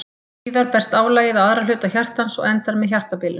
Síðar berst álagið á aðra hluta hjartans og endar með hjartabilun.